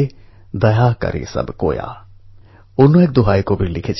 এই চ্যালেঞ্জকে স্বীকার করে এক অভিনব চেষ্টা চালিয়েছেন